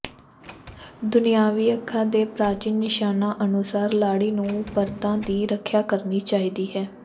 ਦੁਨਿਆਵੀ ਅੱਖਾਂ ਦੇ ਪ੍ਰਾਚੀਨ ਨਿਸ਼ਾਨਾਂ ਅਨੁਸਾਰ ਲਾੜੀ ਨੂੰ ਪਰਦਾ ਦੀ ਰੱਖਿਆ ਕਰਨੀ ਚਾਹੀਦੀ ਹੈ